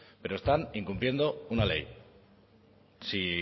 pero están incumpliendo una ley si